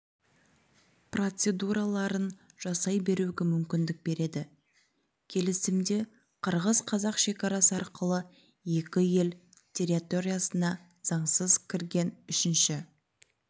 процедураларын жасай беруге мүмкіндік береді келісімде қырғыз-қазақ шекарасы арқылы екі ел территориясына заңсыз кірген үшінші